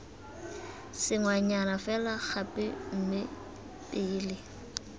sengwenyana fela gape mme pele